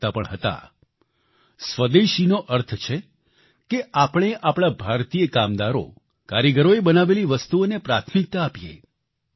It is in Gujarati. તેઓ કહેતા પણ હતા સ્વદેશીનો અર્થ છે કે આપણે આપણા ભારતીય કામદારો કારીગરોએ બનાવેલી વસ્તુઓને પ્રાથમિકતા આપીએ